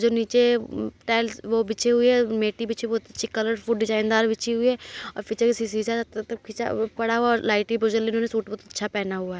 जो नीचे टाइल्स वो बिछी हुई है मैटी बिछे हुए बहुत अच्छी कलरफुल डिजाइनदार बिछी हुई है पड़ा हुआ लाइटे सूट बहोत अच्छा पहना हुआ है।